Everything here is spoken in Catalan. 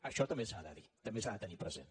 això també s’ha de dir també s’ha de tenir present